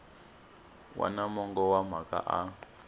wana mongo wa mhaka a